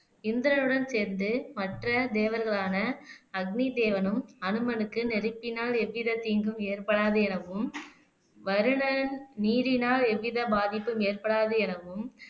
இந்திரனுடன் சேர்ந்து மற்ற தேவர்களான அக்னி தேவனும் அனுமனுக்கு நெருப்பினால் எவ்வித தீங்கும் ஏற்படாது எனவும் வருணன் நீரினால் எவ்வித பாதிப்பும் ஏற்படாது எனவும்